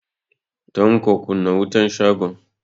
Tanko, kunna wutan shagon.